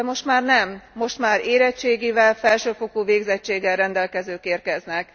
De most már nem, most már érettségivel, felsőfokú végzettséggel rendelkezők érkeznek.